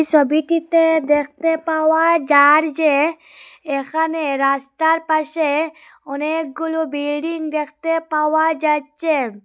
ছবিটিতে দেখতে পাওয়া যার যে এখানে রাস্তার পাশে অনেকগুলো বেরিং দেখতে পাওয়া যাচ্ছে।